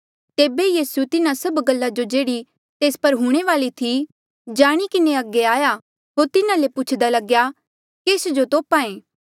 तेबे यीसू तिन्हा सब गल्ला जो जेह्ड़ी तेस पर हूंणे वाली थी जाणी किन्हें अगे आया होर तिन्हा ले पुछदा लग्या केस जो तोप्हा ऐें